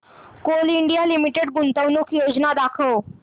Coal India Limited गुंतवणूक योजना दाखव